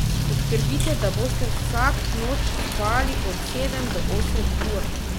Poskrbite, da boste vsak noč spali od sedem do osem ur.